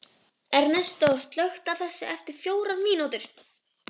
Ernestó, slökktu á þessu eftir fjórar mínútur.